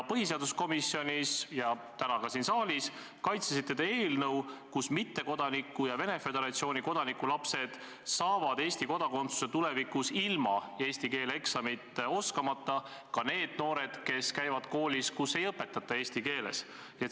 Põhiseaduskomisjonis ja täna ka siin saalis kaitsesite eelnõu, mille kohaselt mittekodaniku ja Venemaa Föderatsiooni kodaniku lapsed saavad Eesti kodakondsuse tulevikus ilma eesti keele eksamit tegemata – seega ka need noored, kes käivad koolis, kus ei õpetata eesti keeles.